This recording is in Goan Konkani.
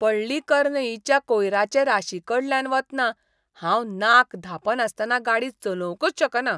पळ्ळीकरनईच्या कोयराचे राशीकडल्यान वतना हांव नाक धांपनासतना गाडी चलोवंकच शकना.